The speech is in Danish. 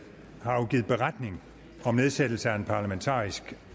har afgivet beretning om nedsættelse af en parlamentarisk